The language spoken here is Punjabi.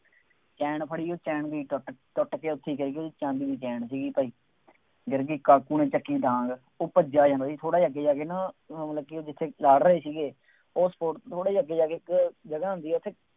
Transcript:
ਚੈਨ ਫੜੀ ਉਹ ਚੈਨ ਵੀ ਟੁੱਟ ਟੁੱਟ ਕੇ ਉੱਥੇ ਹੀ ਗਿਰ ਗਈ ਸੀ, ਚਾਂਦੀ ਦੀ ਚੈਨ ਸੀਗੀ। ਗਿਰ ਗਈ, ਕਾਕੂ ਨੇ ਚੱਕੀ ਡਾਂਗ, ਉਹ ਭੱਜਿਆਂ ਜਾਂਦਾ ਸੀ, ਥੋੜ੍ਹਾ ਜਿਹਾ ਅੱਗੇ ਜਾ ਕੇ ਨਾ, ਜਿੱਥੇ ਲੜ ਰਹੇ ਸੀਗੇ, ਉਹ ਥੋੜ੍ਹਾ ਜਿਹਾ ਅੱਗੇ ਜਾ ਕੇ ਜਗ੍ਹਾ ਆਉਂਦੀ ਹੈ